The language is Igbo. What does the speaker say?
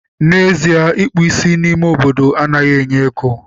N'ezie, ịkpụ ísí n'ime obodo anaghị enye ego